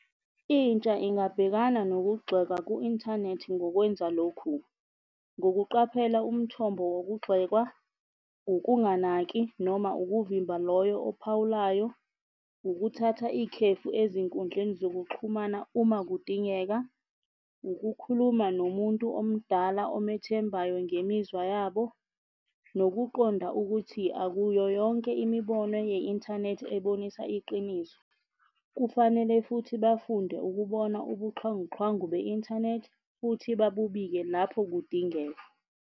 Intsha ingabhekana nokugxekwa ku-inthanethi ngokwenza lokhu, ngokuqaphela umthombo wokugxekwa ukunganaki noma ukuvimba loyo ophawulayo, ukuthatha ikhefu ezinkundleni zokuxhumana uma kudingeka, ukukhuluma nomuntu omdala omethembayo ngemizwa yabo, nokuqonda ukuthi akuyo yonke imibono ye-inthanethi ebonisa iqiniso. Kufanele futhi bafunde ukubona ubuxhwanguxhwangu be-inthanethi, futhi babubike lapho kudingeka.